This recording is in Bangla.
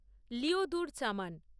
লিওদুর চামান